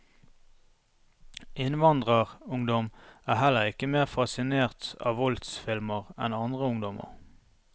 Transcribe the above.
Innvandrerungdom er heller ikke mer fascinert av voldsfilmer enn andre ungdommer.